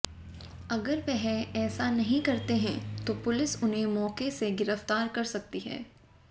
अगर वह ऐसा नहीं करते हैं तो पुलिस उन्हें मौके से गिरफ्तार कर सकती है